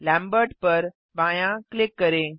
Lambert पर बायाँ click करें